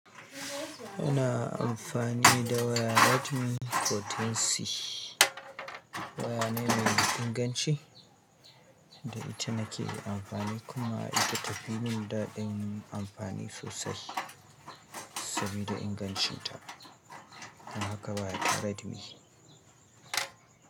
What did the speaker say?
Ina amfani da wayar Redmi Note 14C. Waya ne mai inganci da ita nake amfani kuma ita ta fi min daɗin amfani sosai sabida ingancinta. Don haka waya ta Redmi.